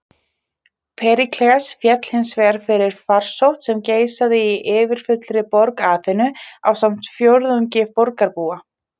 Períkles féll hins vegar fyrir farsótt sem geisaði í yfirfullri borg Aþenu, ásamt fjórðungi borgarbúa.